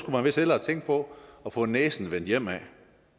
man vist hellere tænke på at få næsen vendt hjemad